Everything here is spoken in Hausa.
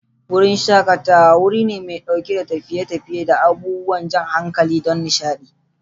Wurin shakatawa: Wuri mai ɗauke da tafiye-tafiye da abubuwan jan hankali don nishaɗi.